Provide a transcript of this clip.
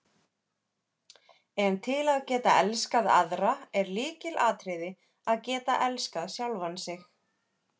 En til að geta elskað aðra er lykilatriði að geta elskað sjálfan sig.